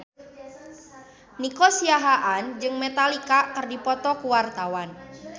Nico Siahaan jeung Metallica keur dipoto ku wartawan